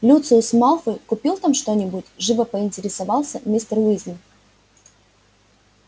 люциус малфой купил там что-нибудь живо поинтересовался мистер уизли